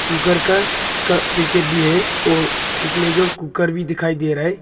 Cooker का उसका packet भी है और इस में जो कुकर भी दिखाई दे रहा है।